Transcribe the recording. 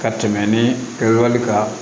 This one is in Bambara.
Ka tɛmɛ ni wali kan